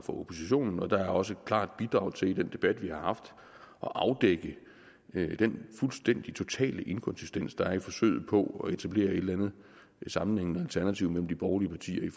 oppositionen der er også et klart bidrag til i den debat vi har haft at afdække den fuldstædig totale inkonsistens der er i forsøget på at etablere et eller andet sammenhængende alternativ mellem de borgerlige partier i